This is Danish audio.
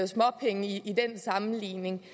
småpenge i den sammenligning